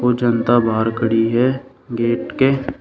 वो जनता बाहर खड़ी है गेट के।